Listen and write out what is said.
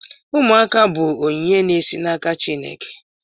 Ụmụaka bụ onyinye na-esi n'aka Chineke.